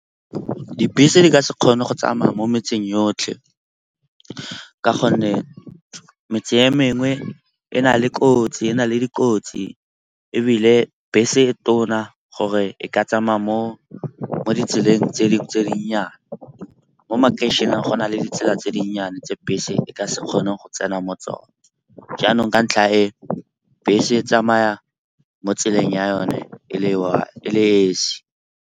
Dibese di ka se kgone go tsamaya mo metseng yotlhe ka gonne metseng e mengwe e na le dikotsi ebile bese e tona gore e ka tsamaya mo ditseleng tse dinnyane. Mo makeišeneng go na le ditsela tse dinnyane tse bese e ka se kgone go tsena mo tsone. Jaanong ka ntlha e, bese tsamaya mo tseleng ya yone e le esi.